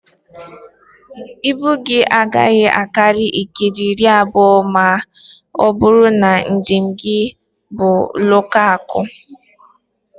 Ibu gị agaghị akarị keeji iri abụọ ma ọ bụrụ na njem gị bụ lokaalụ